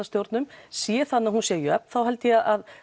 stjórnum sé þannig að hún sé jöfn þá held ég að